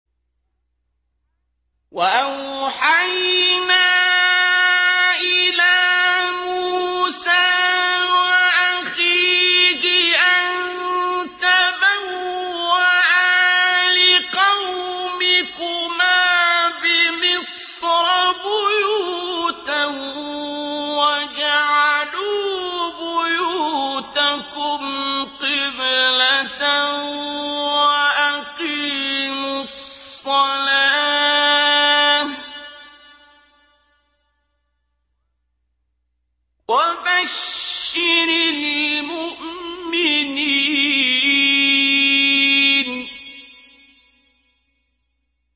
وَأَوْحَيْنَا إِلَىٰ مُوسَىٰ وَأَخِيهِ أَن تَبَوَّآ لِقَوْمِكُمَا بِمِصْرَ بُيُوتًا وَاجْعَلُوا بُيُوتَكُمْ قِبْلَةً وَأَقِيمُوا الصَّلَاةَ ۗ وَبَشِّرِ الْمُؤْمِنِينَ